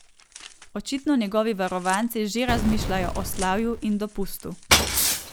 Očitno njegovi varovanci že razmišljajo o slavju in dopustu.